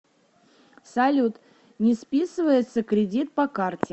салют не списывается кредит по карте